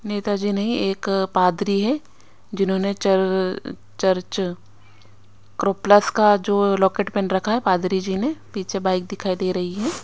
नेता जी नहीं एक पादरी है जिन्होंने चर्र चर्च क्रो प्लस का जो लॉकेट पेन रखा है पादरी जी ने पीछे बाइक दिखाई देरी है।